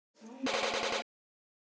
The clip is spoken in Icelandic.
Þjóðin elskar hana.